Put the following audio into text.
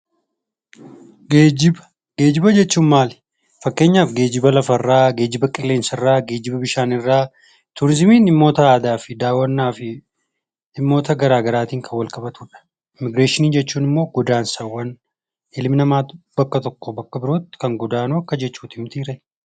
Geejjiba. Geejjiba jechuun maali? fakkeenyaaf geejjiba lafarraa, geejjiba qilleensarraa, geejjiba bishaanirraa. Turiizimiin immoo daawwannaafi dhimmoota garaa garaan kan walqabatudha. Immigireeshinii jechuun immoo godaansawwan ilmi namaa bakka tokkoo bakka birootti kan godaanuu